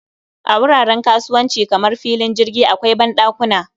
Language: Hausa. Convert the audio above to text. A wuraren kasuwanci kamar filin jirgi akwai banɗakuna